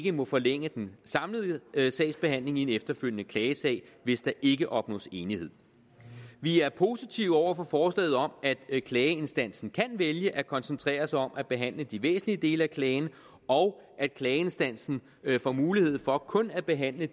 må forlænge den samlede sagsbehandling i en efterfølgende klagesag hvis der ikke opnås enighed vi er positive over for forslaget om at klageinstansen kan vælge at koncentrere sig om at behandle de væsentlige dele af klagen og at klageinstansen får mulighed for kun at behandle